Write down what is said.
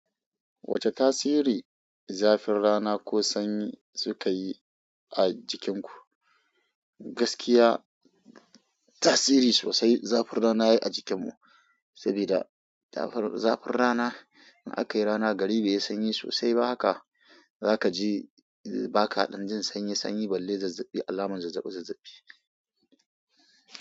Wace tasiri zafin rana ko sanyi suka yi a jikinku? Gaskiya tasiri sosai zafin rana ya yi a jikinmu, saboda zafin rana in aka yi rana gari bai yi sanyi sosai ba haka, za ka ji baka ɗan jin sanyi sanyi balle zazzaɓi alamun zazzaɓi zazzaɓi.